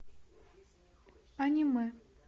аниме